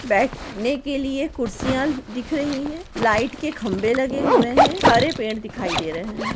बैठ ने लिए कुर्सियाँ दिख रही है लाइट के खम्बे लगे हुए है हरे पेड़ दिखाई दे रहे है।